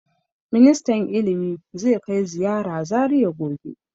Ministan ilimi zai kai ziyara Zariya gobe.